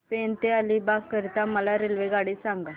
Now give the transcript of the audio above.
पेण ते अलिबाग करीता मला रेल्वेगाडी सांगा